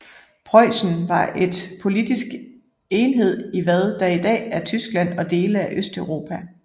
Preussen var en politisk enhed i hvad der i dag er Tyskland og dele af Østeuropa